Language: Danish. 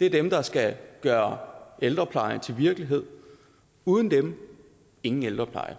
det er dem der skal gøre ældreplejen til virkelighed uden dem ingen ældrepleje